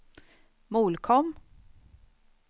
Molkom